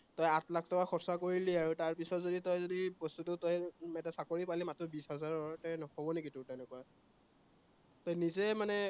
তই আঠ লাখ টকা খৰচা কৰিলি আৰু তাৰপিছত যদি তই যদি বস্তুটো তই চাকৰি পালি মাত্ৰ বিশ হাজাৰৰ, হব নেকি তোৰ তেনেকুৱা, তই নিজেই মানে